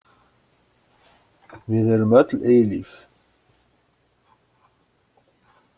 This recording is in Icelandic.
Við erum öll eilíf.